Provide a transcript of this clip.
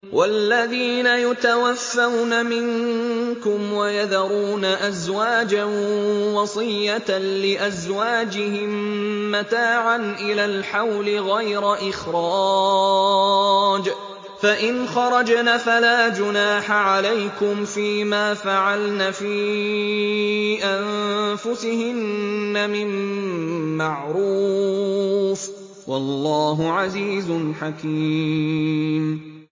وَالَّذِينَ يُتَوَفَّوْنَ مِنكُمْ وَيَذَرُونَ أَزْوَاجًا وَصِيَّةً لِّأَزْوَاجِهِم مَّتَاعًا إِلَى الْحَوْلِ غَيْرَ إِخْرَاجٍ ۚ فَإِنْ خَرَجْنَ فَلَا جُنَاحَ عَلَيْكُمْ فِي مَا فَعَلْنَ فِي أَنفُسِهِنَّ مِن مَّعْرُوفٍ ۗ وَاللَّهُ عَزِيزٌ حَكِيمٌ